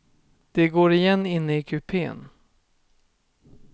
Det går igen inne i kupen.